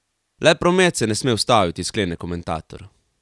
Le promet se ne sme ustaviti, sklene komentator.